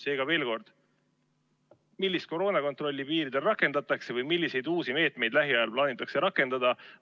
Seega, veel kord: millist koroonakontrolli piiril rakendatakse või milliseid uusi meetmeid lähiajal plaanitakse rakendada?